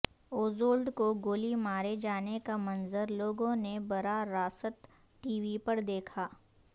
Oswald کو گولی مارے جانے کا منظر لوگوں نے برا راست ٹی وی پر دیکھا